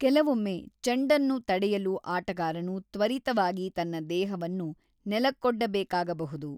ಕೆಲವೊಮ್ಮೆ ಚೆಂಡನ್ನು ತಡೆಯಲು ಆಟಗಾರನು ತ್ವರಿತವಾಗಿ ತನ್ನ ದೇಹವನ್ನು ನೆಲಕ್ಕೊಡ್ಡಬೇಕಾಗಬಹುದು.